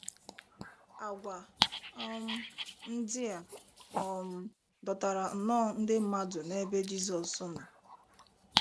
Àgwà um ndị a um dọtara nnọọ ndị mmadụ n’ebe Jizọs nọ.